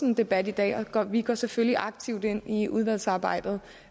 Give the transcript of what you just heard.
en debat i dag og vi går selvfølgelig aktivt ind i udvalgsarbejdet